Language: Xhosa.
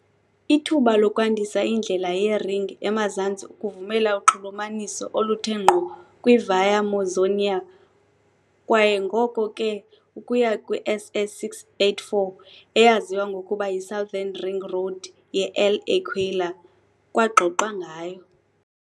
Ithuba lokwandisa indlela ye-ring emazantsi ukuvumela uxhulumaniso oluthe ngqo kwi-Via Mausonia kwaye ngoko ke ukuya kwi-SS 684, eyaziwa ngokuba yi "-Southern ring road ye-L'Aquila", kwaxoxwa ngayo.